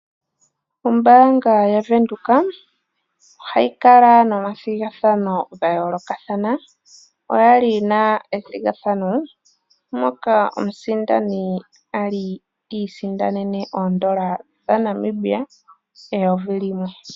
Ombaanga ya Windhoek ohayi kala nomathigathano gayoolokathana oyali yina ethigathano moka omusindani ali iisindanene oondola dhaNamibia eyovi limwe.